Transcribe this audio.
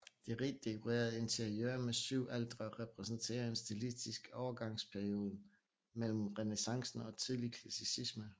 Det rigt dekorerede interiør med syv altre repræsenterer en stilistisk overgangsperioden mellem renæssancen og tidlig klassicisme